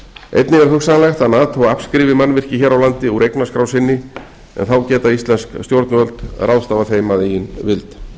einnig er hugsanlegt að nato afskrifi mannvirki hér á landi úr eignaskrá sinni en þá geta íslensk stjórnvöld ráðstafað þeim að eigin vild